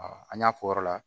an y'a fɔ o yɔrɔ la